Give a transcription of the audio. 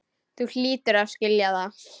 Þú hlýtur að skilja það.